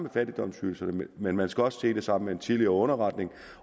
af fattigdomsydelserne men man skal også se det sammen med en tidligere underretning